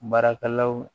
Baarakɛlaw